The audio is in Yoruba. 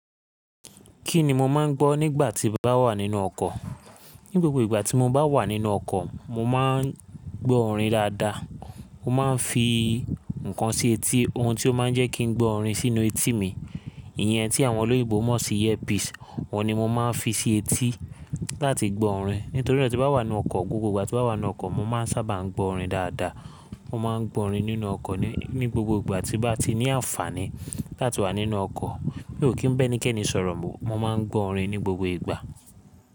Kí ni mo máa ń gbọ́ nígbà tí n bá wà nínú ọkọ̀? Ní gbogbo ìgbà tí mo bá wà nínú ọkọ̀, mo máa ń gbọ́ orin dáadáa. Mo máa ń fi nǹkan sí etí ohun tí ó máa ń jẹ́ kí n gbọ́ orin sínú etí mi. Ìyẹn tí àwọn olóyègbò mọ̀ sí earpiece wọ̀ ní mo máa ń fi sí etí láti gbọ́ orin. Nítorí na tí n bá wà nínú ọkọ̀, gbogbo ìgbà tí mo bá wà nínú ọkọ̀, mo máa ń sábà ń gbọ́ orin dáadáa. Mo máa ń gbọ́ orin nínú ọkọ̀ ní gbogbo ìgbà tí mo bá ti ní àǹfààní láti wà nínú ọkọ̀. Mi ò kí ń bá ẹnikẹ́ni sọ̀rọ̀, mo máa ń gbọ́ orin ní gbogbo ìgbà.